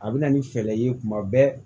A bɛ na ni fɛɛrɛ ye kuma bɛɛ